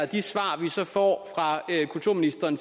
de svar vi får fra kulturministeren